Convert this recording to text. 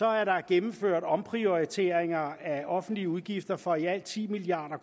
er der gennemført omprioriteringer af offentlige udgifter for i alt ti milliard